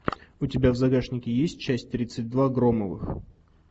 у тебя в загашнике есть часть тридцать два громовых